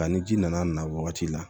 A ni ji nana na wagati la